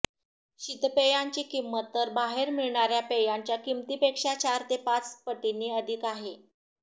शीतपेयांची किंमत तर बाहेर मिळणार्या पेयांच्या किमतीपेक्षा चार ते पाच पटींनी अधिक आहे